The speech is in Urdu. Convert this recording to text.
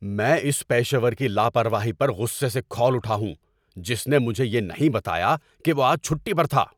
میں اس پیشہ ور کی لاپرواہی پر غصے سے کھول اٹھا ہوں جس نے مجھے یہ نہیں بتایا کہ وہ آج چھٹی پر تھا۔